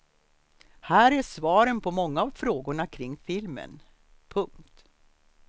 Här är svaren på många av frågorna kring filmen. punkt